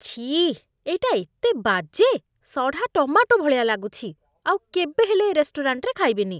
ଛିଃ! ଏଇଟା ଏତେ ବାଜେ! ସଢ଼ା ଟମାଟୋ ଭଳିଆ ଲାଗୁଛି, ଆଉ କେବେ ହେଲେ ଏ ରେଷ୍ଟୁରାଣ୍ଟରେ ଖାଇବିନି ।